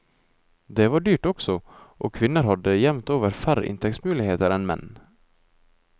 Det var dyrt også, og kvinner hadde jevnt over færre inntektsmuligheter enn menn.